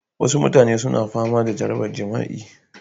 Wasu mutane suna fama da jarabar jima'i